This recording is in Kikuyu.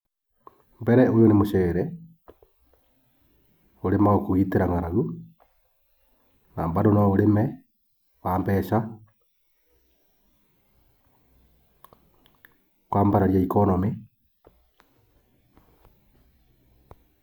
Mbere ũyũ nĩ mũcere ũrĩmagwo kũgitĩra ng'aragu. Na bandr no ũrĩme wa mbeca, kwambararia economy.